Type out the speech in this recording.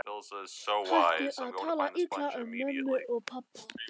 Hættu að tala illa um mömmu og pabba!